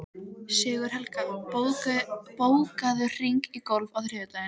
Sigurhelga, bókaðu hring í golf á þriðjudaginn.